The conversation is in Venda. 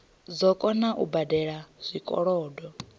dzo kona u badela zwikolodo